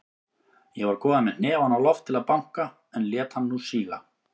Ég var kominn með hnefann á loft til að banka, en lét hann nú síga.